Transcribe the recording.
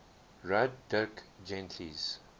wrote dirk gently's